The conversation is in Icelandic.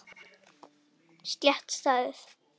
Slétt staðið.